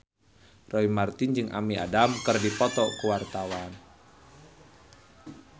Roy Marten jeung Amy Adams keur dipoto ku wartawan